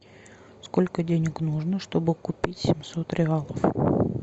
сколько денег нужно чтобы купить семьсот реалов